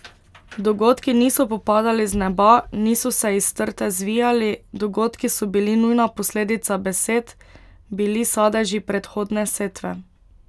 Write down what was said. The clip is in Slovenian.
Dogodki niso popadali z neba, niso se iz trte zvijali, dogodki so bili nujna posledica besed, bili sadeži predhodne setve.